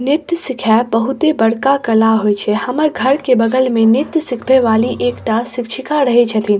नृत्य सिखाएब बहुत ही बड़का कला हेय छै हमर घर के बगल में नृत्य सिखबे वाली एकटा शिक्षिका रहे छथीन।